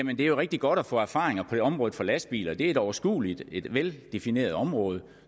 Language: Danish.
er jo rigtig godt at få erfaringer på området for lastbiler det er et overskueligt og et veldefineret område